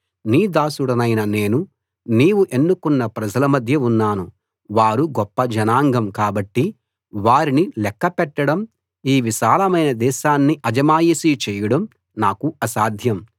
నీ దాసుడినైన నేను నీవు ఎన్నుకొన్న ప్రజల మధ్య ఉన్నాను వారు గొప్ప జనాంగం కాబట్టి వారిని లెక్క పెట్టడం ఈ విశాలమైన దేశాన్ని అజమాయిషీ చేయడం నాకు అసాధ్యం